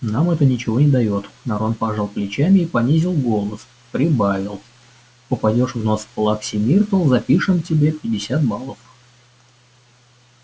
нам это ничего не даёт рон пожал плечами и понизив голос прибавил попадёшь в нос плаксе миртл запишем тебе пятьдесят баллов